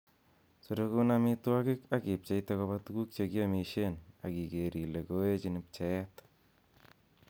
Sorogun ak ipcheite amitwogik koba tuguk che kiomisien, ak igeer ile kooechin pcheet.